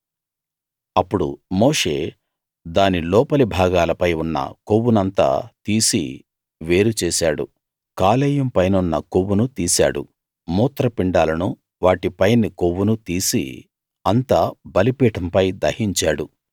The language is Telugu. అప్పుడు మోషే దాని లోపలి భాగాలపై ఉన్న కొవ్వునంతా తీసి వేరు చేశాడు కాలేయం పైనున్న కొవ్వును తీశాడు మూత్రపిండాలనూ వాటిపైని కొవ్వునూ తీసి అంతా బలిపీఠంపై దహించాడు